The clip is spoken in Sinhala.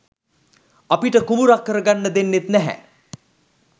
අපිට කුඹුරක් කරගන්න දෙන්නේත් නැහැ